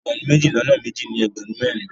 Ẹgbẹ̀rún méjì lọ́nà méjì ní ẹgbẹ̀rún mẹ́rin.